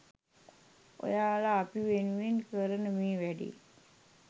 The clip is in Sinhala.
ඔයාල අපි වෙනුවෙන් කරන මේ වැඩේ